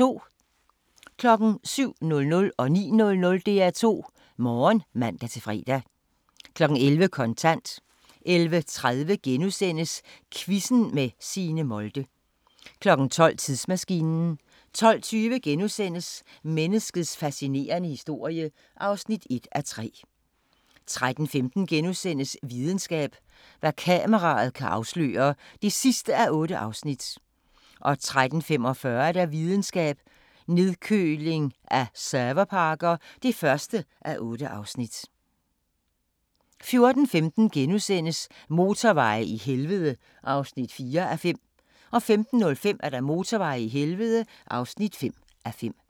07:00: DR2 Morgen (man-fre) 09:00: DR2 Morgen (man-fre) 11:00: Kontant 11:30: Quizzen med Signe Molde * 12:00: Tidsmaskinen 12:20: Menneskets fascinerende historie (1:3)* 13:15: Videnskab: Hvad kameraet kan afsløre (8:8)* 13:45: Videnskab: Nedkøling af serverparker (1:8) 14:15: Motorveje i helvede (4:5)* 15:05: Motorveje i helvede (5:5)